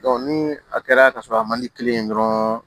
ni a kɛra ka sɔrɔ a man di kelen ye dɔrɔn